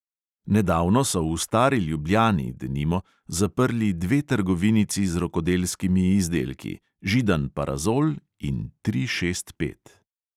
Nedavno so v stari ljubljani, denimo, zaprli dve trgovinici z rokodelskimi izdelki, židan parazol in tri šest pet.